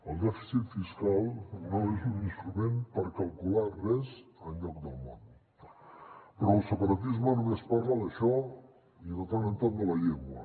el dèficit fiscal no és un instrument per calcular res enlloc del món però el separatisme només parla d’això i de tant en tant de la llengua